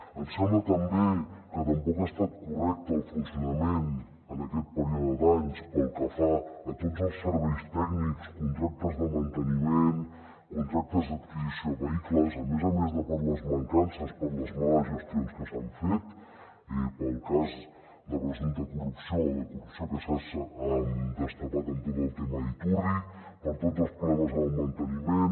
ens sembla també que tampoc ha estat correcte el funcionament en aquest període d’anys pel que fa a tots els serveis tècnics contractes de manteniment contractes d’adquisició de vehicles a més a més de per les mancances per les males gestions que s’han fet pel cas de presumpta corrupció o de corrupció que s’ha destapat amb tot el tema iturri per tots els problemes amb el manteniment